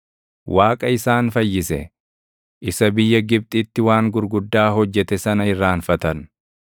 Waaqa isaan fayyise, isa biyya Gibxitti waan gurguddaa hojjete sana irraanfatan.